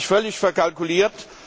Er hat sich völlig verkalkuliert.